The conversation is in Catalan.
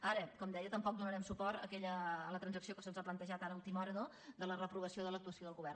ara com deia tampoc donarem suport a la transac·ció que se’ns ha plantejat ara a última hora no de la reprovació de l’actuació del govern